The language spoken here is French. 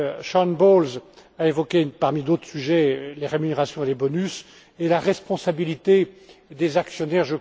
Sharon Bowles a évoqué, parmi d'autres sujets, les rémunérations et les bonus, et la responsabilité des actionnaires.